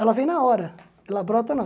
Ela vem na hora, ela brota na